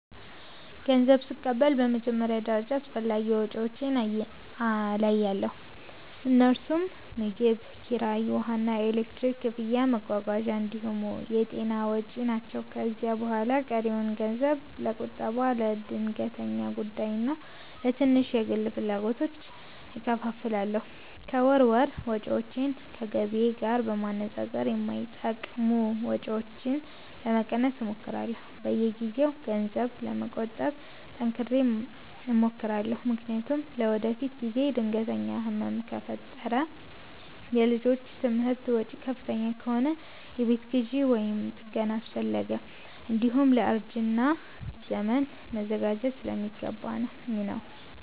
ገንዘብ ስቀበል በመጀመሪያ ደረጃ አስፈላጊ ወጪዎቼን እለያለሁ፤ እነርሱም ምግብ፣ ኪራይ፣ ውሃና ኤሌክትሪክ ክፍያ፣ መጓጓዣ እንዲሁም የጤና ወጪ ናቸው። ከዚያ በኋላ ቀሪውን ገንዘብ ለቁጠባ፣ ለድንገተኛ ጉዳይና ለትንሽ የግል ፍላጎቶች እከፋፍላለሁ። ከወር ወር ወጪዎቼን ከገቢዬ ጋር በማነጻጸር የማይጠቅሙ ወጪዎችን ለመቀነስ እሞክራለሁ። በየጊዜው ገንዘብ ለመቆጠብ ጠንክሬ እሞክራለሁ፤ ምክንያቱም ለወደፊት ጊዜ ድንገተኛ ህመም ከፈጠረ፣ የልጆች ትምህርት ወጪ ከፍተኛ ከሆነ፣ የቤት ግዢ ወይም ጥገና አስፈለገ፣ እንዲሁም ለእርጅና ዘመን መዘጋጀት ስለሚገባኝ ነው።